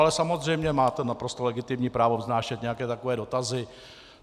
Ale samozřejmě máte naprosto legitimní právo vznášet nějaké takové dotazy.